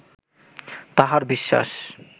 তাঁহার বিশ্বাস